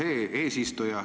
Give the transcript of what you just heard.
Austet eesistuja!